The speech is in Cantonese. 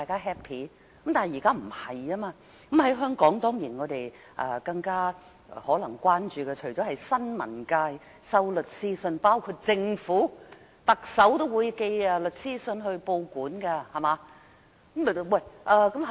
香港所關注的可能是新聞界收到律師信，包括來自政府、特首的律師信，特首也會寄律師信到報館。